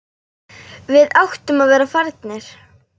Við áttum að vera farnir.